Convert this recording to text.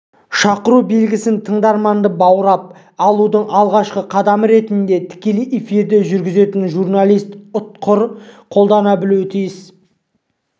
шақыру белгісін тыңдарманды баурап алудың алғашқы қадамы ретінде тікелей эфирді жүргізетін журналист ұтқыр қолдана білуі тиіс